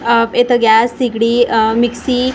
आह इथं गॅस शेगडी आह मिक्सी कुकर व --